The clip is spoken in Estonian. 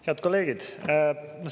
Head kolleegid!